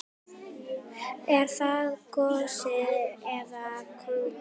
Er það gosi eða kóngur?